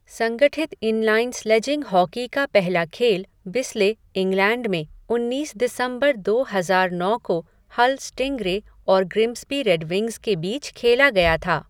संगठित inline sledging hockey का पहला खेल बिस्ले, इंग्लैंड में उन्नीस दिसंबर दो हजार नौ को हल स्टिंगरे और ग्रिम्सबी रेडविंग्स के बीच खेला गया था।